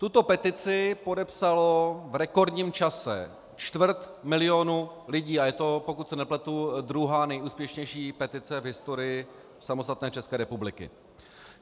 Tuto petici podepsalo v rekordním čase čtvrt milionu lidí a je to, pokud se nepletu, druhá nejúspěšnější petice v historii samostatné České republiky.